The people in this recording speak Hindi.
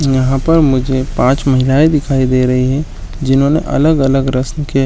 यहां पर मुझे पांच महिलाएं दिखाई दे रही हैं जिन्होंने अलग-अलग रस्म के --